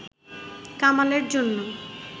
কামালের জন্য